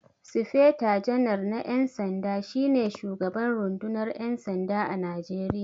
Sifeta janar na 'yan sanda, shi ne shugaban rundunar 'yan sanda a Najeriya.